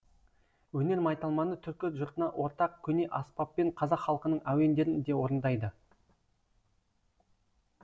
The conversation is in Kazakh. өнер майталманы түркі жұртына ортақ көне аспаппен қазақ халқының әуендерін де орындайды